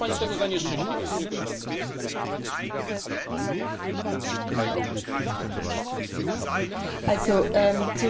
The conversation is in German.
Zu dem Punkt, warum wir jetzt Israel kritisieren Da haben wir mehrere Ziffern, die die Situation in der Region behandeln.